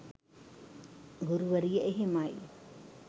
ගුරුවරිය එහෙමයි